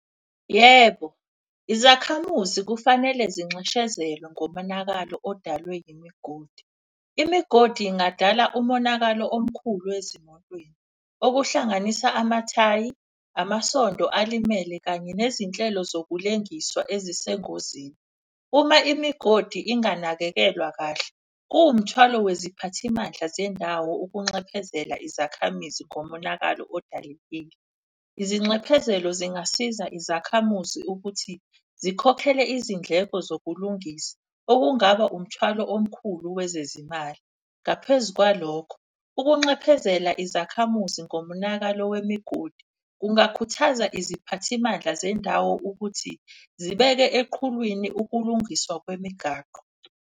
Yebo, izakhamuzi kufanele zinxeshezelwe ngomonakalo odalwe imigodi. Imigodi ingadala umonakalo omkhulu ezimotweni. Okuhlanganisa amathayi, amasonto alimele kanye nezinhlelo zokulengiswa ezisengozini. Uma imigodi inganakekelwa kahle, kuwumthwalo weziphathimandla zendawo ukunxephezela izakhamizi ngomonakalo . Izinxephezelo zingasiza izakhamuzi ukuthi zikhokhele izindleko zokulungisa, okungaba umthwalo omkhulu wezezimali. Ngaphezu kwalokho ukunxephezela izakhamuzi ngomonakalo wemigodi. Kungakhuthaza iziphathimandla zendawo ukuthi zibeke eqhulwini ukulungiswa kwemigaqo.